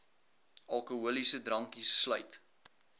alkoholiese drankies sluit